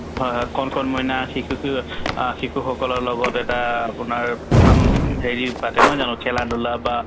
হয় হয় কণ কণ মইনা শিশুকো অ শিশুসকলৰ লগত এটা আপোনাৰ ফাম হেৰি পাতে নহয় জানো খেলা-ধূলা বা